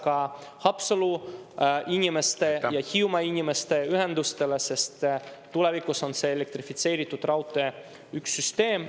… kaasa ka Haapsalu inimeste ja Hiiumaa inimeste ühendustele, sest tulevikus on see elektrifitseeritud raudtee üks süsteem.